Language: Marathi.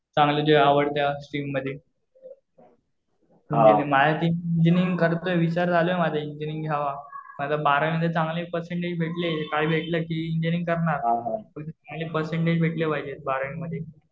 चांगलं जे आवडत्या स्ट्रीम मध्ये. माझ्या डोक्यात इंजिनीअरिंग चालू आहे. विचार करतोय मी इंजिनीअरिंग घ्यावं. जर बारावीला चांगले पर्सेंटेज भेटले. काही भेटलं कि इंजिनीअरिंग करणार. चांगले पर्सेंटेज भेटले पाहिजे बारावी मध्ये.